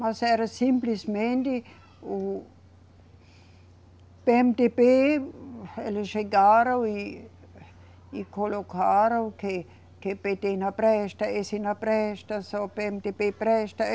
Mas era simplesmente o PêeMeDêBê, eles chegaram e, e colocaram que, que PêTê não presta, esse não presta, só o PêeMeDêBê presta.